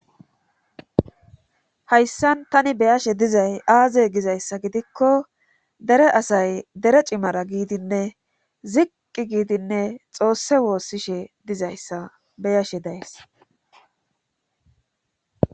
hayssan tani beyashe dizay aaze gizayssa gidikko dere asay dere cimara giidinne ziqqi giidinne xoosse woossishe dizayssa beyashe dayes